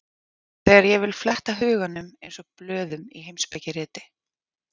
Þegar ég vil fletta huganum eins og blöðum í heimspekiriti.